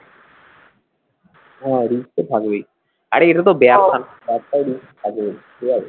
হ্যাঁ risk তো থাকবেই আরে এগুলো তো risk থাকবেই ঠিক আছে